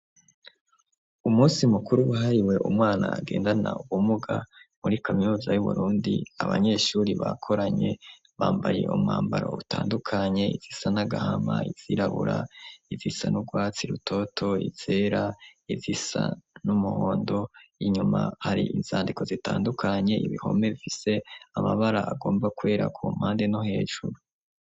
Umunsi mukuru ahariwe umwana agendana uwomuga muri kaminuza y'uburundi abanyeshuri bakoranye bambaye umwambaro utandukanye izisa nagahama izirabura izisa n'ubwatsi rutoto isera izisa n'umuhondo inyuma hari inzandiko zitandukanye ibihome ifise amabara agomba kwera ku mpande no hejuru.